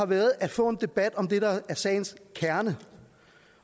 været at få en debat om det der er sagens kerne